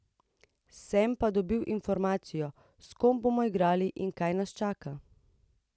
Sem pa dobil informacije, s kom bomo igrali in kaj nas čaka.